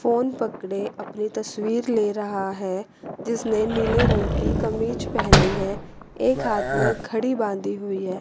Phone पकड़े अपनी तस्वीर ले रहा है जिसने नीले रंग की कमीज पहनी है एक हाथ मे घड़ी बांधी हुई है।